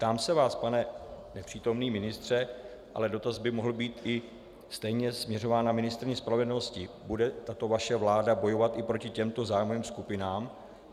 Ptám se vás, pane nepřítomný ministře - ale dotaz by mohl být i stejně směřován na ministryni spravedlnosti: Bude tato vaše vláda bojovat i proti těmto zájmovým skupinám?